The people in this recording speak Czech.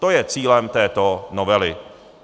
To je cílem této novely.